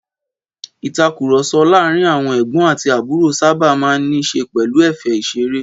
Ìtàkurọ̀sọ láàárín àwọn ẹ̀gbọ́n àti àbúrò sábà máa ń ní í ṣe pẹ̀lú ẹ̀fẹ̀ ìṣeré.